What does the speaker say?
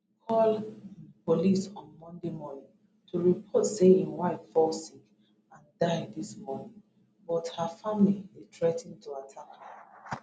call um police on monday morning to report say im wife fall sick and die dis morning but her family dey threa ten to attack am